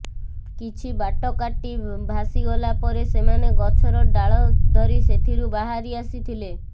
କିଛି ବାଟ କାର୍ଟି ଭାସିଗଲା ପରେ ସେମାନେ ଗଛର ଡାଳ ଧରି ସେଥିରୁ ବାହାରି ଆସିଥିଲେ